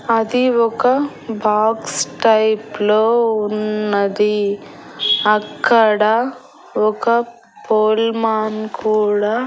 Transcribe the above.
అది ఒక box type లో ఉన్నది అక్కడ ఒక పోల్మాన్ కూడా--